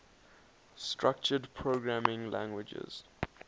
structured programming languages